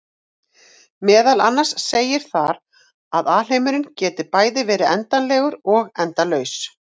Meðal annars segir þar að alheimurinn geti bæði verið endanlegur og endalaus!